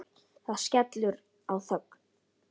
Það skellur á þögn.